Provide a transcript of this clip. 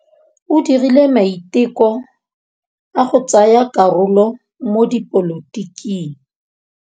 O dirile maitekô a go tsaya karolo mo dipolotiking.